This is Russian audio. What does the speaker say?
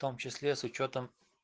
в том числе с учётом